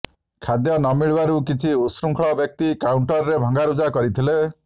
ଖାଦ୍ୟ ନମିଳିବାରୁ କିଛି ଉତ୍ସୃଙ୍ଖଳ ବ୍ୟକ୍ତି କାଉଂଟରରେ ଭଙ୍ଗାରୁଜା କରିଥିଲେ